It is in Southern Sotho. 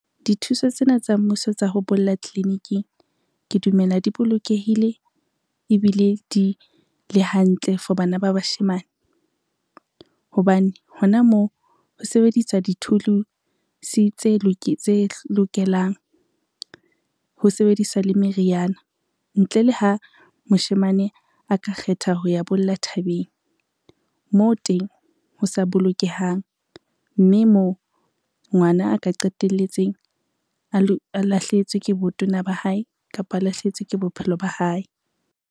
Dithuso tsena tsa mmuso tsa ho bolla tliliniking ke dumela di bolokehile ebile di le hantle for bana ba bashemane, hobane hona moo ho sebediswa dithulusi tse lokelang, ho sebediswa meriana. Ntle le ha moshemane ka kgetha ho ya bolla thabeng moo teng ho sa bolokehang, mme moo ngwana a ka qetelletse a lahlehetswe ke botona ba hae, kapa a lahlehetswe ke bophelo ba hae.